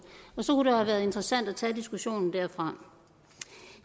have været interessant at tage diskussionen derfra